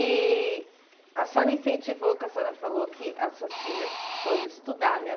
E a senhora incentivou, porque a senhora falou que as suas filhas foram estudar, né?